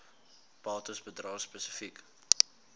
bates bedrae spesifiek